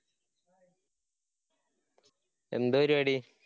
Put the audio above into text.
എന്താ പരുപാടി?